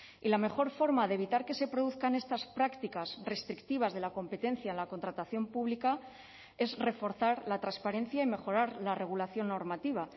y la mejor forma de evitar que se produzcan estas prácticas restrictivas de la competencia en la contratación pública es reforzar la transparencia y mejorar la regulación normativa